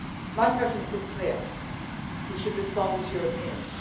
My preference is clear. We should respond as Europeans.